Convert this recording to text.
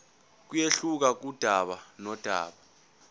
kuyehluka kudaba nodaba